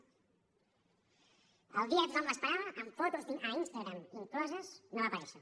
el dia que tothom l’esperava amb fotos a instagram incloses no va aparèixer